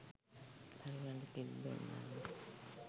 දරුවන්ට කිරි දුන්නාම